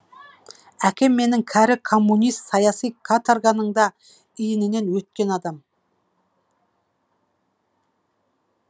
әкем менің кәрі коммунист саяси каторганың да иінінен өткен адам